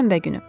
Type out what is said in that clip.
Şənbə günü.